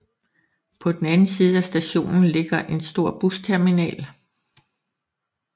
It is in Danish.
På den anden side af stationen ligger en stor busterminal